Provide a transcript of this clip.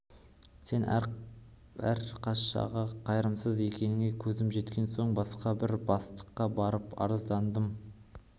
сен аркашаға қайырымсыз екеніңе көзім жеткен соң басқа бір бастыққа барып арыздандым